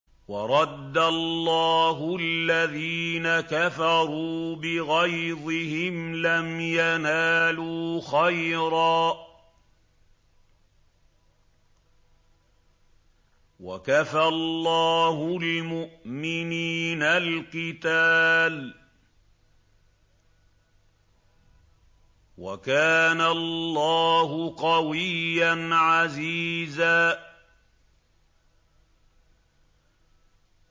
وَرَدَّ اللَّهُ الَّذِينَ كَفَرُوا بِغَيْظِهِمْ لَمْ يَنَالُوا خَيْرًا ۚ وَكَفَى اللَّهُ الْمُؤْمِنِينَ الْقِتَالَ ۚ وَكَانَ اللَّهُ قَوِيًّا عَزِيزًا